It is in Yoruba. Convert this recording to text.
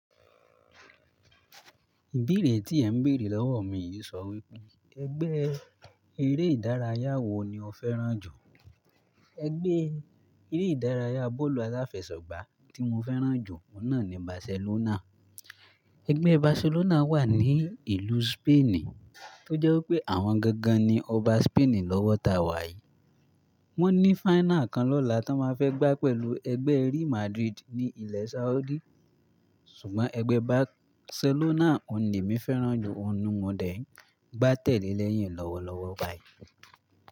Ìbéèrè tí ẹ̀ ń béèrè lọ́wọ́ mi yìí sọ wípé ẹgbẹ́ eré ìdárayá wo ni o fẹ́ràn jù? Ẹgbẹ́ eré ìdárayá bọ́ọ̀lù aláfẹsẹ̀gbá tí mo fẹ́ràn jù ohun náà ni Barcelona. Ẹgbẹ́ Barcelona wà ní ìlú Spain, tó jẹ́ wípé àwọn gangan ni ọba Spain lọ́wọ́ ta wà yìí. Wọ́n ní final kan lọ́la tí wọ́n máa fẹ́ gbá pẹ̀lúu ẹgbẹ́ Real Madrid ní ilẹ̀ Saudi. Ṣùgbọ́n ẹgbẹ́ Barcelona ni èmi fẹ́ràn jù, òhun ni mo dẹ̀ ń gbá tẹ̀lé lẹ́yìn lọ́wọ́lọ́wọ́ báyìí.